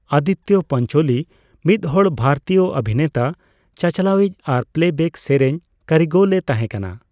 ᱟᱫᱤᱛᱛᱚ ᱯᱟᱧᱪᱳᱞᱤ ᱢᱤᱫᱦᱚᱲ ᱵᱷᱟᱨᱚᱛᱤᱭᱟᱹ ᱚᱵᱷᱤᱱᱮᱛᱟ, ᱪᱟᱼᱪᱟᱞᱟᱣᱤᱪ ᱟᱨ ᱯᱞᱮᱵᱮᱠ ᱥᱮᱨᱮᱧ ᱠᱟᱹᱨᱤᱜᱚᱞ ᱮ ᱛᱟᱦᱮᱸ ᱠᱟᱱᱟ ᱾